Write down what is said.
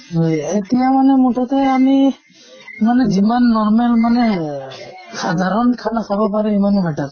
হয় । এতিয়া মানে মুঠতে আমি মানে যিমান normal মানে এহ সাধাৰণ খানা খাব পাৰে সিমানেই better